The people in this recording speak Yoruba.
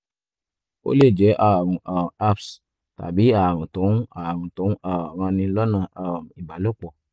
ó lè jẹ́ ààrùn um herpes tàbí ààrùn tó ń ààrùn tó ń um ranni lọ́nà um ìbálòpọ̀